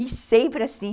E sempre assim.